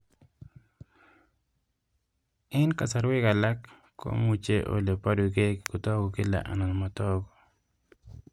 Eng' kasarwek alak komuchi ole parukei kotag'u kila anan matag'u